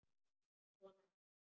Svona er þetta.